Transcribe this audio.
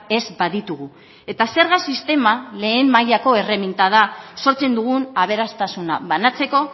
ez baditugu eta zerga sistema lehen mailako erreminta da sortzen dugun aberastasuna banatzeko